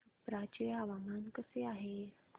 छप्रा चे हवामान कसे आहे